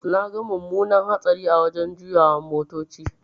Naga mumunar hatsari a wajan juyawan motoci.